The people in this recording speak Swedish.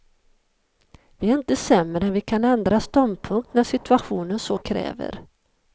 Vi är inte sämre än vi kan ändra ståndpunkt när nu situationen så kräver.